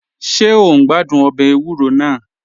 Ṣe o n gbàdún ọbẹ èwùrò náà?